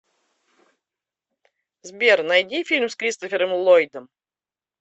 сбер найди фильм с кристофером ллойдом